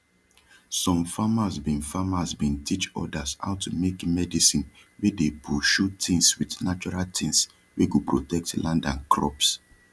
som farmers bin farmers bin teach others how to make medicine wey dey pushu tins wit natural things wey go protect land and crops